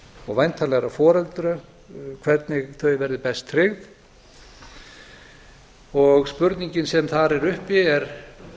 og væntanlegra foreldra hvernig þau verði best tryggð spurningin sem þar er uppi er